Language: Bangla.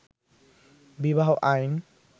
বিবাহ আইন